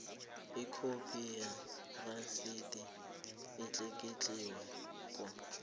ikhophi yerasidi etlikitliweko